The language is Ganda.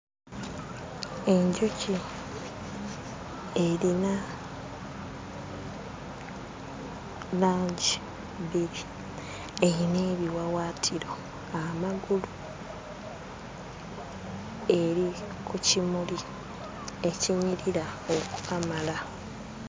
Enjuki erina langi bbiri, erina ebiwawaatiro, amagulu. Eri ku kimuli ekinyirira okukamala.